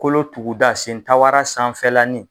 Kolo tuguda sentabaara sanfɛlanin